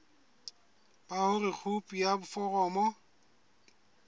ba hore khopi ya foromo